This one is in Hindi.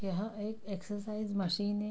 यहाँ एक एक्सरसाइज मशीन है।